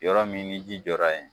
Yɔrɔ min ni ji jɔra yen